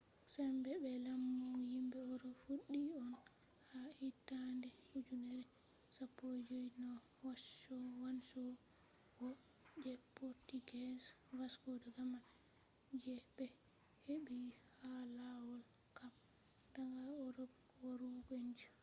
sembe be lamu yimbe erop fuddi on ha hittande ujenere 15 no wanchowo je portuguese vasco da gama je be heɓɓi ha lawol cape daga erop warugo india